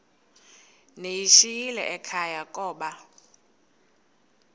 ndiyishiyile ekhaya koba